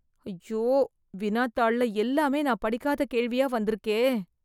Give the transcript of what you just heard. ஐயோ! வினாத்தாள்ல எல்லாமே நான் படிக்காத கேள்வியாக வந்திருக்கே